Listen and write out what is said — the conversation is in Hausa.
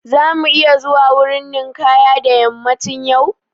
Za mu iya zuwa wurin ninkaya da yammacin yau?